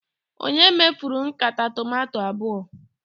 Ònye mefuru nkata tomato abụọ?